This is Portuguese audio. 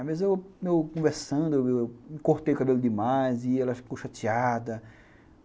Às vezes eu conversando, eu cortei o cabelo demais e elas ficam chateadas.